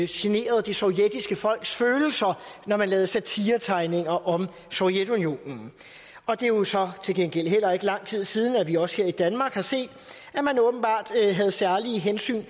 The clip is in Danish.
generede det sovjetiske folks følelser når man lavede satiretegninger om sovjetunionen og det er jo så til gengæld heller ikke lang tid siden at vi også her i danmark har set at man åbenbart havde særlige hensyn